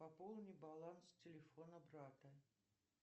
пополни баланс телефона брата